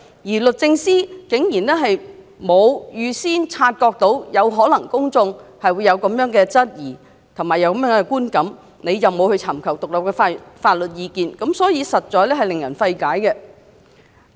此外，律政司竟然沒能預先察覺公眾或會因她沒有尋求獨立法律意見而有這樣的質疑和觀感，實在令人費解。